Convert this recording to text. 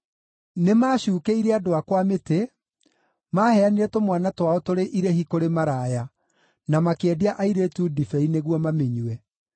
Nĩmacuukĩire andũ akwa mĩtĩ. Maaheanire tũmwana twao tũrĩ irĩhi kũrĩ maraya; na makĩendia airĩtu ndibei nĩguo mamĩnyue.